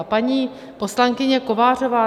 A paní poslankyně Kovářová.